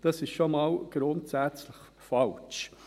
Das ist schon mal grundsätzlich falsch.